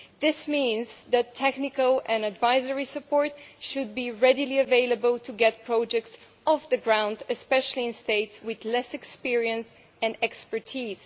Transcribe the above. This means that technical and advisory support should be readily available to get projects off the ground, especially in states with less experience and expertise.